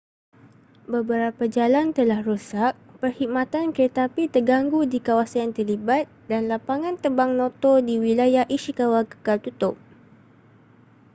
beberapa jalan telah rosak perkhidmatan keretapi terganggu di kawasan yang terlibat dan lapangan terbang noto di wilayah ishikawa kekal tutup